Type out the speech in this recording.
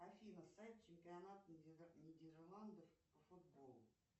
афина сайт чемпионата нидерландов по футболу